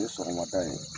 N ye sɔgɔmada ye